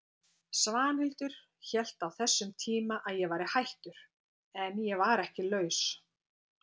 Svanhildur hélt á þessum tíma að ég væri hættur, en ég var ekki laus.